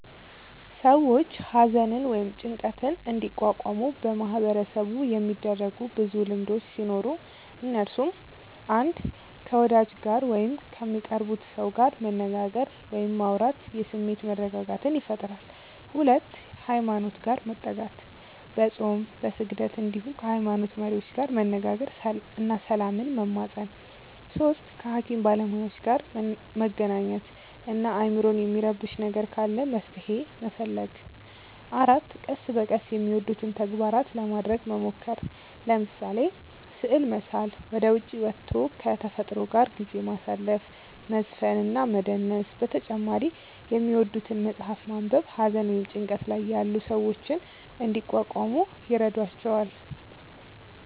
ሰዎች ሃዘንን ወይም ጭንቀትን እንዲቋቋሙ በማህበረሰቡ የሚደረጉ ብዙ ልምዶቹ ሲኖሩ እነሱም፣ 1. ከ ወዳጅ ጋር ወይም ከሚቀርቡት ሰው ጋር መነጋገር ወይም ማውራት የስሜት መረጋጋትን ይፈጥራል 2. ሃይማኖት ጋር መጠጋት፦ በፆም፣ በስግደት እንዲሁም ከ ሃይሞኖት መሪዎች ጋር መነጋገር እና ሰላምን መማፀን 3. ከ ሃኪም ባለሞያዎች ጋር መገናኘት እና አይምሮን የሚረብሽ ነገር ካለ መፍትሔ መፈለግ 4. ቀስ በቀስ የሚወዱትን ተግባራት ለማረግ መሞከር፤ ለምሳሌ፦ ስዕል መሳል፣ ወደ ዉጪ ወቶ ከ ተፈጥሮ ጋር ጊዜ ማሳለፍ፣ መዝፈን እና መደነስ በተጨማሪ የሚወዱትን መፅሐፍ ማንበብ ሃዘን ወይም ጭንቀት ላይ ያሉ ሰዎችን እንዲቋቋሙ ይረዷቸዋል።